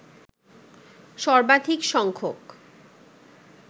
সর্বাধিক সংখ্যক